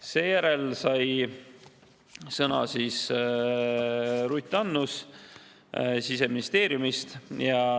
Seejärel sai sõna Ruth Annus Siseministeeriumist.